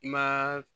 I ma